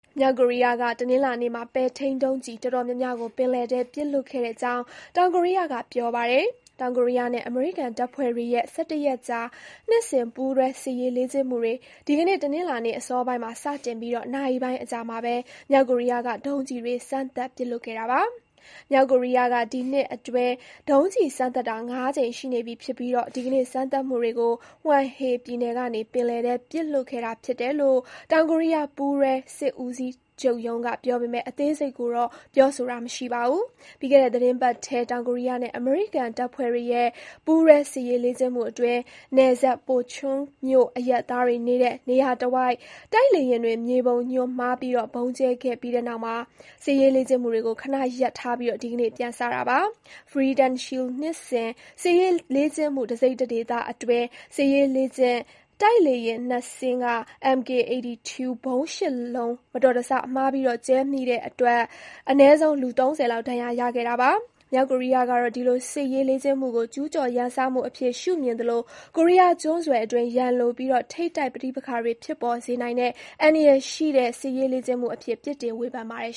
မြောက်ကိုရီးယားက တနင်္လာနေ့မှာ ပဲ့ထိန်းဒုံးကျည်တော်တော်များများကို ပင်လယ်ထဲ ပစ်လွှတ်ခဲ့ ကြောင်း တောင်ကိုရီးယားက ပြောပါတယ်။ တောင်ကိုရီးယားနဲ့ အမေရိကန်တပ်ဖွဲ့တွေရဲ့ (၁၁) ရက် ကြာ နှစ်စဉ်ပူးတွဲစစ်ရေးလေ့ကျင့်မှုတွေ ဒီကနေ့ တနင်္လာနေ့အစောပိုင်းမှာ စတင်ပြီး နာရီပိုင်း အကြာမှာပဲ မြောက်ကိုရီးယားက ဒုံးကျည်တွေစမ်းသပ်ပစ်လွှတ်ခဲ့တာပါ။ မြောက်ကိုရီးယားက ဒီနှစ်အတွင်း ဒုံးကျည်စမ်းသပ်တာ (၅) ကြိမ်ရှိနေပြီဖြစ်ပြီး ဒီကနေ့ စမ်းသပ်မှုတွေ ကို Hwanghae ပြည်နယ်က နေပင်လယ်ထဲပစ်လွှတ်ခဲ့တာဖြစ်တယ်လို့ တောင်ကိုရီးယား ပူးတွဲစစ်ဦးစီး ချုပ်ရုံးကပြောပေမဲ့ အသေးစိတ်ကိုတော့ ပြောဆိုတာမရှိပါဘူး။ ပြီးခဲ့တဲ့ သီတင်းပတ်ထဲ တောင်ကိုရီး ယားနဲ့ အမေရိကန်တပ်ဖွဲ့တွေရဲ့ ပူးတွဲစစ်ရေးလေ့ကျင့်မှုအတွင်း နယ်စပ် Pocheon မြို့အရပ်သားတွေ နေတဲ့ နေရာတဝိုက် တိုက်လေယာဉ်တွေက မြေပုံညွှန်းမှားဗုံးကြဲခဲ့ပြီးတဲ့နောက် စစ်ရေးလေ့ကျင့်မှု တွေကို ခဏရပ်ထားပြီး ဒီကနေ့ ပြန်စတာပါ။ Freedom Shield နှစ်စဉ် စစ်ရေးလေ့ကျင့်မှု တစိတ်တဒေသအတွင်း စစ်ရေးလေ့ကျင့်တိုက်လေယာဉ် (၂) စင်းက MK-82 ဗုံး (၈) လုံး မတော်တဆ မှားပြီးကြဲမိခဲ့တဲ့အတွက် အနည်းဆုံး လူ (၃၀) လောက် ဒဏ်ရာရခဲ့ပါတယ်။ မြောက်ကိုရီးယားကတော့ ဒီလိုစစ်ရေးလေ့ကျင့်မှုကို ကျူးကျော်ရန်စမှုအဖြစ် ရှုမြင်သလို ကိုရီးယားကျွန်းဆွယ်အတွင်း ရန်လိုပြီး ထိပ်တိုက်ပဋိပက္ခတွေဖြစ်ပေါ်စေနိုင်တဲ့ အန္တရာယ်ရှိတဲ့စစ်ရေးလေ့ကျင့်မှုအဖြစ် ပြစ်တင်ဝေဖန်ပါတယ်